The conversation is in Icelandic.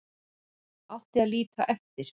Átti að líta eftir